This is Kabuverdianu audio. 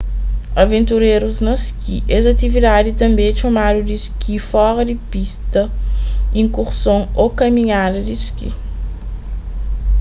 aventurérus na ski es atividadi tanbê é txomadu di ski fora di pista iskurson ô kaminhada di ski